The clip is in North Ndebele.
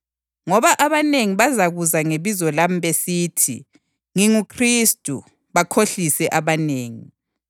Ngoba abanengi bazakuza ngebizo lami besithi, ‘NginguKhristu,’ bakhohlise abanengi.